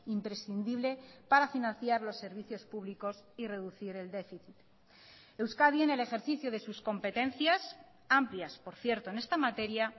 imprescindible para financiar los servicios públicos y reducir el déficit euskadi en el ejercicio de sus competencias amplias por cierto en esta materia